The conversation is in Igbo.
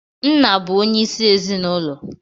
Nna bụ onye isi ezinụlọ.